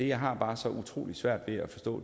jeg har bare så utrolig svært ved at forstå